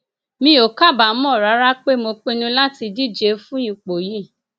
mi ò kábàámọ rárá pé mo pinnu láti díje fún ipò yìí